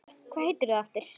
Hvað heitir þú aftur?